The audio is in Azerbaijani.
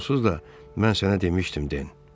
Onsuz da mən sənə demişdim Den.